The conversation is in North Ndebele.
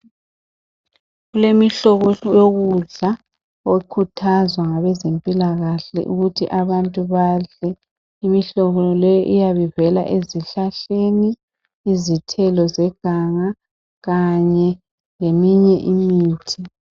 Kulemihlobo yokudla ekhuthazwa ngabezempilakahle, ukuthi kubeyiyo edliwa ngabantu. Imihlobo le igoqela izithelo zeganga, kanye leminye imithi.